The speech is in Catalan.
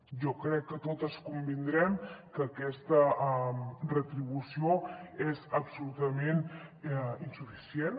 jo crec que totes convindrem que aquesta retribució és absolutament insuficient